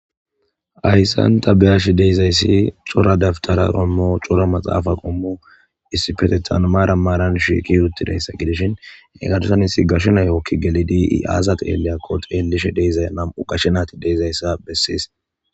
ayssanta beyash deyizayssi cora daftara ommo cora maxaafa qummu issifetethanmaara maaran shiiki yuttidayssa gidishin egarsan hissi gasho nayooki gelidi i7azad eeleyakkoteelishe deizay nam7u qashenati deyzayssa bessies